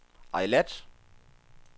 Eilat